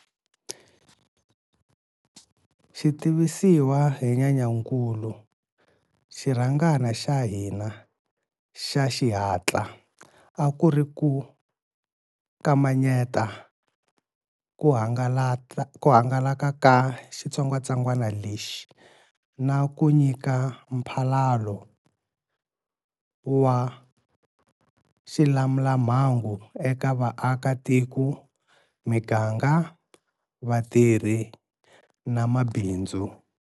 Xi tivisiwa hi Nyenyankulu, xirhangana xa hina xa xihatla a ku ri ku kamanyeta ku hangalaka ka xitsongwatsongwana lexi na ku nyika mphalalo wa xilamulamhangu eka vaakatiko, miganga, vatirhi na mabindzu.